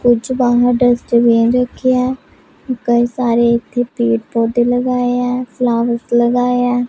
वो जो बाहर डस्टबिन रखे हैं कई सारे पेड़ पौधे लगाए हैं फ्लॉवर्स लगाए हैं।